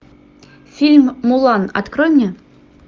фильм мулан открой мне